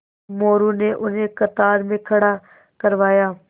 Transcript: मोरू ने उन्हें कतार में खड़ा करवाया